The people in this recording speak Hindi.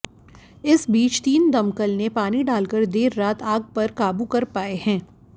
इस बीच तीन दमकल ने पानी डालकर देर रात आग पर काबू कर पाए है